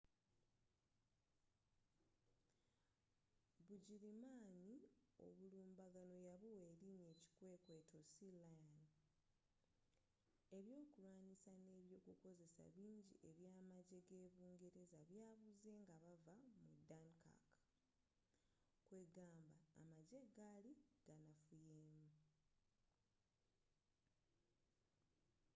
bugirimaani obulumbaganno yabuwa erinya ekikwekweto sealion”. ebyokulwanisa ne ebyokukozesa bingi ebya amajje ge’bungereza byabuze nga bavva mu dunkirk kwegamba amajje gali ganafuyemu